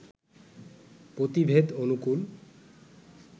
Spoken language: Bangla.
পতিভেদ অনুকূল